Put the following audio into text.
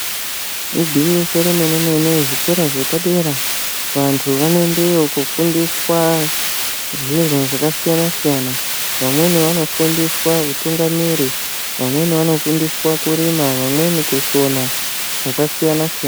Igwinyiso remene-mene zvikora zvepadera vantu vanoendeyo kofundiswa zvinhu zvakasiyana -siyana. Vamweni vanofundiswa utungamiri, vamweni vanofundiswa kurima , vamweni kusona zvakasiyana -siyana.